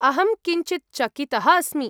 अहं किञ्चित् चकितः अस्मि।